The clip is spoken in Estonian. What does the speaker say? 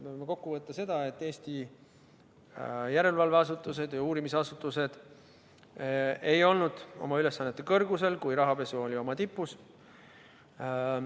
Me võime kokkuvõtvalt öelda seda, et Eesti järelevalveasutused ja uurimisasutused ei olnud oma ülesannete kõrgusel, kui rahapesu oli tipus.